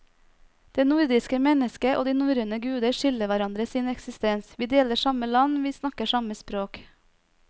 Det nordiske mennesket og de norrøne guder skylder hverandre sin eksistens, vi deler samme land, vi snakker samme språk.